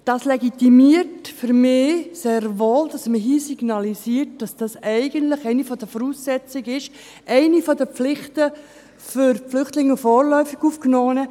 Das legitimiert für mich sehr wohl, dass man hier signalisiert, dass dies eigentlich eine der Voraussetzungen ist, eine der Pflichten für die Flüchtlinge und vorläufig Aufgenommenen.